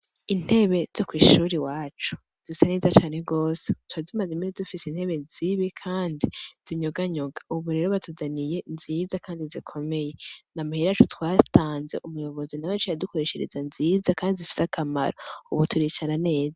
Intebe zo kw' ishure iwacu zisa neza twari tumaze imisi dufise intebe zibi kandi zinyoga nyoga ubu rero dufise intebe nziza kandi zikomeye ni amahera yaco twatanze umuyobozi nawe yaciye adukoreshereza nziza kandi zifise akamaro ubu turicara neza.